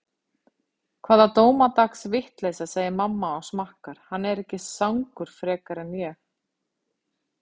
Hvaða dómadags vitleysa, segir mamma og smakkar, hann er ekki sangur frekar en ég.